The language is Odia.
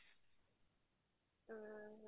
ହୁଁ ହୁଁ